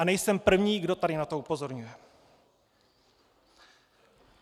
A nejsem první, kdo tady na to upozorňuje.